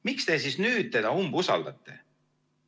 Miks te siis nüüd teda umbusaldate?